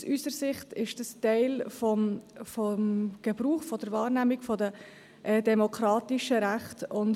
Aus unserer Sicht ist dies Teil der Wahrnehmung der demokratischen Rechte;